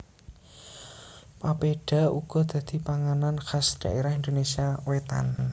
Papeda uga dadi panganan khas ing dhaerah Indonésia wétan